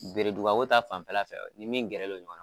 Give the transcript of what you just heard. Bereduba ko ta fan fɛla fɛ, nin min gɛrɛlen don ɲɔgɔn na